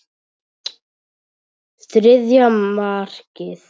Þriðja markið.